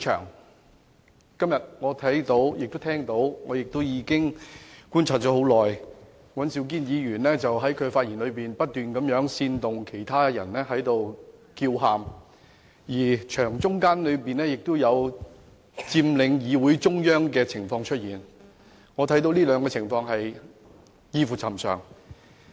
我今天看到和聽到，並已觀察了一段很長時間，尹兆堅議員在發言中不停煽動其他議員叫喊，而且有議員佔領會議廳中央，我認為這兩種情況異於尋常。